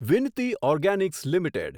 Vinati Organics limited